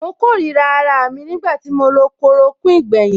Mo kórìíra araà mi nígbà tí mo lo chloroquine gbẹ̀yìn.